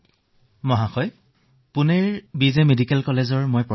চিকিৎসক মহোদয় মই পুণেৰ বি জে মেডিকেল কলেজৰ অধ্যাপক